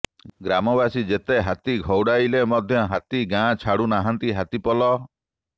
ଗ୍ରାମବାସୀ ଯେତେ ହାତୀ ଘଉଡ଼ାଇଲେ ମଧ୍ୟ ହାତୀ ଗାଁ ଛାଡୁ ନାହାନ୍ତି ହାତୀ ପଲ